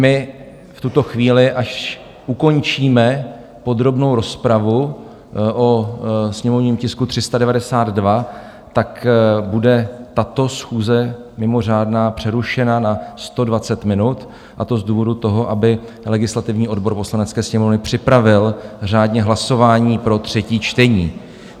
My v tuto chvíli, až ukončíme podrobnou rozpravu o sněmovním tisku 392, tak bude tato schůze, mimořádná, přerušena na 120 minut, a to z důvodu toho, aby legislativní odbor Poslanecké sněmovny připravil řádně hlasování pro třetí čtení.